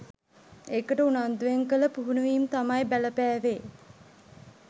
ඒකට උනන්දුවෙන් කළ පුහුණුවීම් තමයි බලපෑවෙ